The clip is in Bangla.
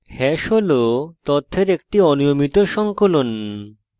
hash hash তথ্যের একটি অনিয়মিত সংকলন